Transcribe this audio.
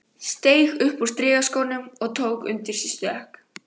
Steig upp úr strigaskónum og tók undir sig stökk.